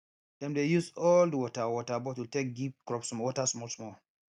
dem dey use old water water bottle take give crops water smallsmall